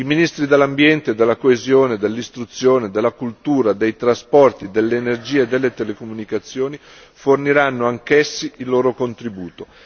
I ministri dell'ambiente, della coesione, dell'istruzione, della cultura, dei trasporti, dell'energia e delle telecomunicazioni forniranno anch'essi il loro contributo.